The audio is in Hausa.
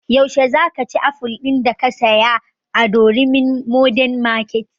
Yaushe za ka ci aful din da ka saya a durumi modern market?